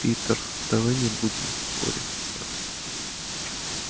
питер давай не будем ссориться